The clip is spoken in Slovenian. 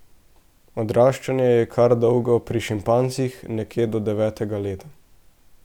Odraščanje je kar dolgo pri šimpanzih, nekje do devetega leta.